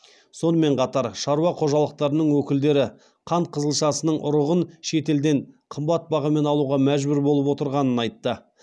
сонымен қатар шаруа қожалықтарының өкілдері қант қызылшасының ұрығын шет елден қымбат бағамен алуға мәжбүр болып отырғанын айтты